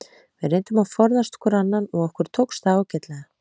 Við reyndum að forðast hvor annan og okkur tókst það ágætlega.